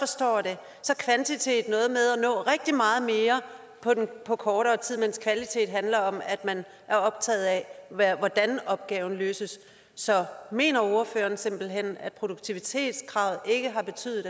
forstår det kvantitet at nå rigtig meget mere på kortere tid mens kvalitet handler om at man er optaget af hvordan opgaven løses så mener ordføreren simpelt hen at produktivitetskravet ikke har betydet